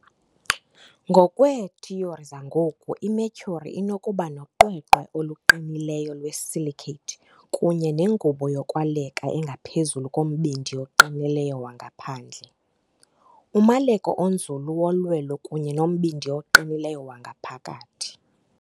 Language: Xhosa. Ngokweethiyori zangoku, iMercury inokuba noqweqwe oluqinileyo lwe-silicate kunye nengubo yokwaleka engaphezulu kombindi oqinileyo wangaphandle, umaleko onzulu wolwelo, kunye nombindi oqinileyo wangaphakathi.